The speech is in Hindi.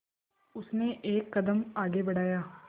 उसने एक कदम आगे बढ़ाया